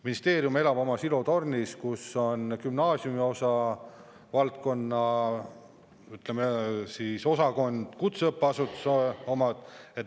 Ministeerium elab oma silotornis, kus on gümnaasiumiosa, ütleme siis, osakond ja kutseõppeasutuse oma.